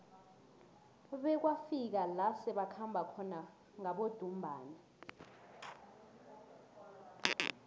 bekwafika la sebakhamba khona ngabodumbana